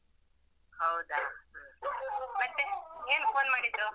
ಹೌದಾ ಮತ್ತೆ ಏನ್ phone ಮಾಡಿದ್ದು?